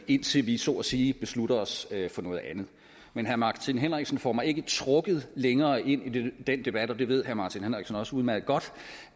indtil vi så at sige beslutter os for noget andet men herre martin henriksen får mig ikke trukket længere ind i den debat og det ved herre martin henriksen også udmærket godt